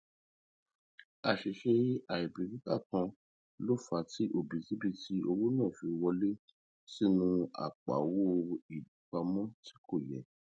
àṣìṣe àìbìkítà kan ló fà á tí òbítíbitì owó náà fi wọlé sínú apoowo ipamọ tí kò yẹ